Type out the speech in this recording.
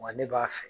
Wa ne b'a fɛ